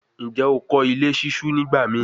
Njẹ o kọ ile ṣiṣu nigbamii?